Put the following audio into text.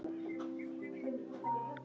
Eins og í dag.